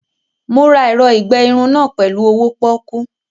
Mo ra ẹ̀rọ ìgbe irun náà ni owó pọ́kú